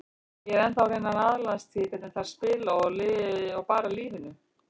Ég er ennþá að reyna að aðlagast því hvernig þær spila og bara lífinu.